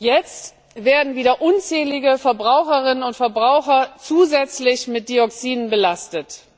Jetzt werden wieder unzählige Verbraucherinnen und Verbraucher zusätzlich mit Dioxinen belastet.